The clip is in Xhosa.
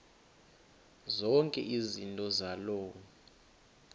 zonke izinto zaloo